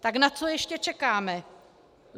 Tak na co ještě čekáme?